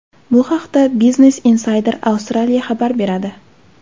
Bu haqda Business Insider Australia xabar beradi .